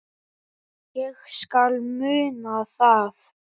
Ég skal muna það